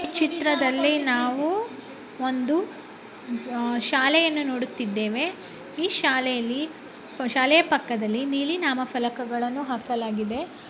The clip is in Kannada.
ಈ ಚಿತ್ರದಲ್ಲಿ ನಾವು ಒಂದು ಶಾಲೆಯನ್ನು ನೋಡುತ್ತಿದ್ದೇವೆ ಈ ಶಾಲೆಯಲ್ಲಿ ಶಾಲೆಯ ಪಕ್ಕದಲ್ಲಿ ನೀಲಿ ನಾಮಫಲಕಗಳನ್ನು ಹಾಕಲಾಗಿದೆ .